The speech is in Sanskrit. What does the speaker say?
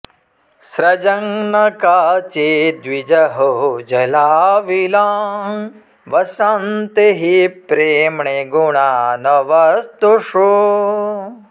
स्रजं न काचिद्विजहौ जलाविलां वसन्ति हि प्रेम्णि गुणा न वस्तुषु